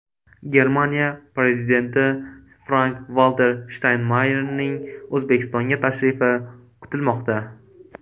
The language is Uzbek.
Germaniya prezidenti Frank-Valter Shtaynmayerning O‘zbekistonga tashrifi kutilmoqda.